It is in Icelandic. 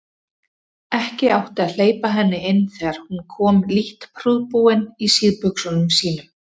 Ekki átti að hleypa henni inn þegar hún kom lítt prúðbúin í síðbuxunum sínum.